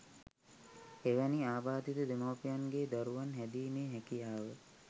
එවැනි ආබාධිත දෙමව්පියන්ගෙ දරුවන් හැදීමෙ හැකියාව